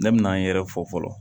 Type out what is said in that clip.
Ne bɛ n yɛrɛ fɔ fɔlɔ